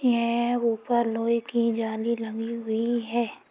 यह ऊपर लोहे की जाली लगी हुई है।